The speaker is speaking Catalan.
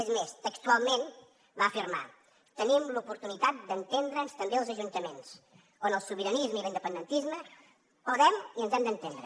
és més textualment va afirmar tenim l’oportunitat d’entendre’ns també als ajuntaments on el sobiranisme i l’independentisme podem i ens hem d’entendre